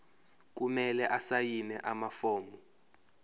kumele asayine amafomu